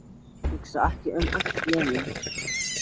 Hugsa ekki um allt í einu.